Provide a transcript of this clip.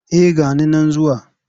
Eh ga ni nan zuwa.